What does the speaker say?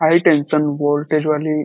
high tension voltage वाली --